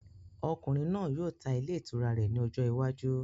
Ọkùnrin náà yóò tá ilé itúrá rẹ ní ọjọ iwájú